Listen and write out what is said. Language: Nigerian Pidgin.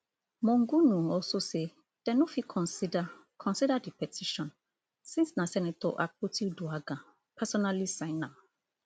monguno also say dem no fit consider consider di petition since na senator akpotiuduaghan personally sign am